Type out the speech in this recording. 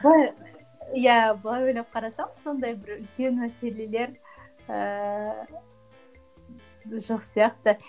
иә былай ойлап қарасам сондай бір үлкен мәселелер ііі жоқ сияқты